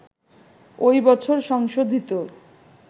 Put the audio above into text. ওই বছর সংশোধিত